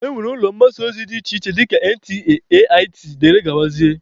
E nwere ụlọ mgbasa ozi dị iche iche dịka NTA, AIT wdg.